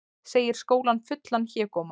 Segir skólann fullan hégóma